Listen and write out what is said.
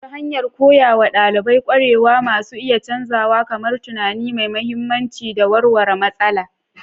Ta hanyar koya wa ɗalibai ƙwarewa masu iya canzawa kamar tunani mai mahimmanci da warware matsala.